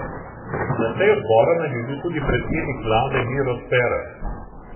Na seji odbora naj bi bil tudi predsednik vlade Miro Cerar.